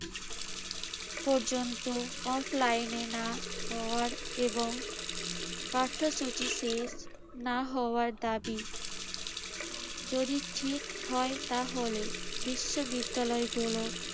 পর্যন্ত offline এ না হওয়ার এবং পাঠ্যসূচি শেষ না হওয়ার দাবি যদি ঠিক হয় তাহলে বিশ্ববিদ্যালয়গুলোর